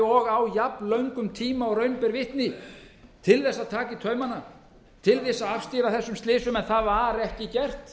og á jafnlöngum tíma og raun ber vitni til að taka í taumana til að afstýra þessum slysum en það var ekki gert